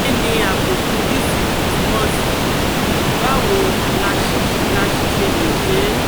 Kí ni àbùkù disiki túmọ̀ sí, báwo la sì ṣe lè ṣe é?